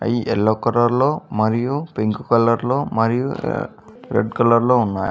ఇయి yellow colour లో మరియు పింక్ కలర్ లో మరియు ఆ రెడ్ కలర్ లో ఉన్నాయి.